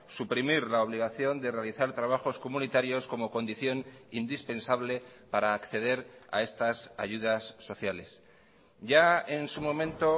lado suprimir la obligación de realizar trabajos comunitarios como condición indispensable para acceder a estas ayudas ya en su momento